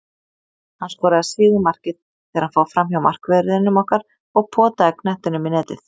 Hann skoraði sigurmarkið þegar hann fór framhjá markverðinum okkar og potaði knettinum í netið.